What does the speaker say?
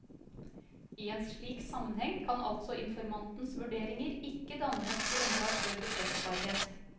I en slik sammenheng kan altså informantens vurderinger ikke danne et grunnlag for bekreftbarhet.